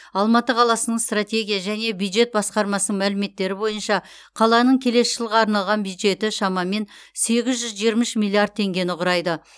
алматы қаласының стратегия және бюджет басқармасының мәліметтері бойынша қаланың келесі жылға арналған бюджеті шамамен сегіз жүз жиырма үш миллиард теңгені құрайды